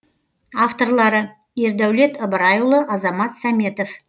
авторлары ердәулет ыбырайұлы азамат сәметов